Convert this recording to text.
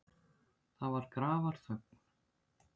Það var grafarþögn.